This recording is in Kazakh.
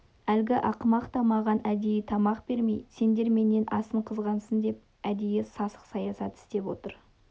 әлгі ақымақ та маған әдейі тамақ бермей сендер менен асын қызғансын деп әдейі сасық саясат істеп отыр